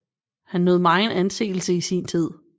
Han nød megen anseelse i sin tid